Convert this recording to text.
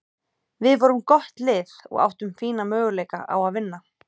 Við vorum gott lið og áttum fína möguleika á að vinna.